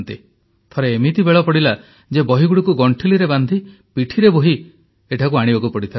ଥରେ ଏମିତି ବେଳ ପଡ଼ିଲା ଯେ ବହିଗୁଡ଼ିକୁ ଗଣ୍ଠିଲିରେ ବାନ୍ଧି ପିଠିରେ ବୋହି ଏଠାକୁ ଆଣିବାକୁ ପଡ଼ିଥିଲା